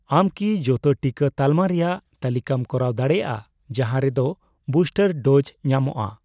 ᱟᱢ ᱠᱤ ᱡᱚᱛᱚ ᱴᱤᱠᱟᱹ ᱛᱟᱞᱢᱟ ᱨᱮᱭᱟᱜ ᱛᱟᱹᱞᱤᱠᱟᱢ ᱠᱚᱨᱟᱣ ᱫᱟᱲᱤᱭᱟᱜᱼᱟ ᱡᱟᱦᱟᱸ ᱨᱮ ᱫᱚ ᱵᱩᱥᱴᱟᱨ ᱰᱳᱡᱽ ᱧᱟᱢᱚᱜᱼᱟ ?